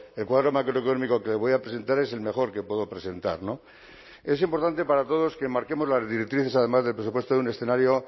el cuadro macroeconómico que le voy a presentar es el mejor que puedo presentar no es importante para todos que marquemos las directrices además del presupuesto de un escenario